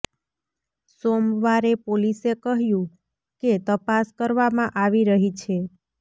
સોમવારે પોલીસે કહ્યું કે તપાસ કરવામાં આવી રહી છે